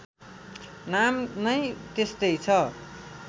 नाम नै त्यस्तै छ